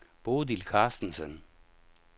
Bodil Carstensen